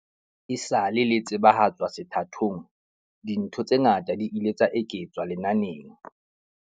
Esale le tsebahatswa sethathong, dintho tse ngata di ile tsa eketswa lenaneng.